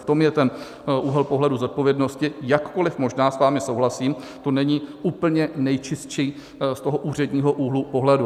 V tom je ten úhel pohledu zodpovědnosti, jakkoliv možná s vámi souhlasím, to není úplně nejčistší z toho úředního úhlu pohledu.